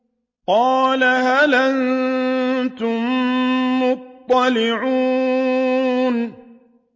قَالَ هَلْ أَنتُم مُّطَّلِعُونَ